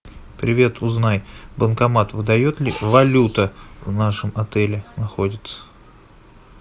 привет узнай банкомат выдает ли валюта в нашем отеле находится